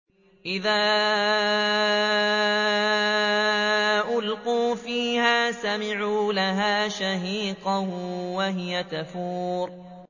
إِذَا أُلْقُوا فِيهَا سَمِعُوا لَهَا شَهِيقًا وَهِيَ تَفُورُ